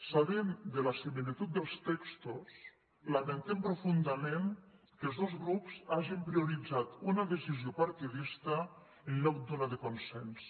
sabent de la similitud dels textos lamentem profundament que els dos grups hagin prioritzat una decisió partidista en lloc d’una de consens